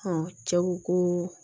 cɛ ko ko